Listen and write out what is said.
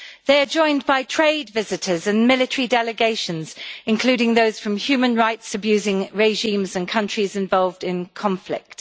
They are joined by trade visitors and military delegations, including those from human rights abusing regimes and countries involved in conflict.